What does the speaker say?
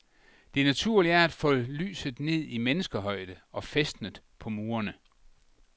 Det naturlige er at få lyset ned i menneskehøjde og fæstnet på murene.